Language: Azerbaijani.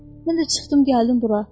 Mən də çıxdım gəldim bura.